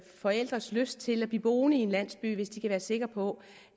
forældres lyst til at blive boende i en landsby hvis de kan være sikre på